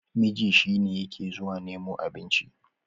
miji shi ne yake zuwa nemo abinci